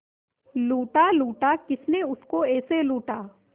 लूटा लूटा किसने उसको ऐसे लूटा